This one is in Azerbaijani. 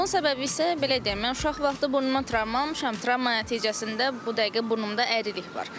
Bunun səbəbi isə belə deyim, mən uşaq vaxtı burnuma travma almışam, travma nəticəsində bu dəqiqə burnumda əyrilik var.